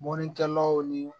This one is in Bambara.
Mɔnnikɛlaw ni